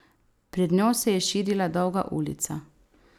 Pred njo se je širila dolga ulica.